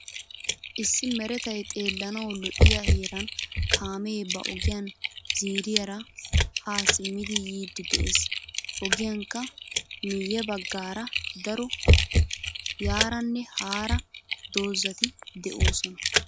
Issi meretay xeelanawu lo'iyaa heeran kaame ba ogiyan ziiriyaara ha simmidi yiidi de'ees. Ogiyankka miye baggaara daro yaaranne haara doozati deosona.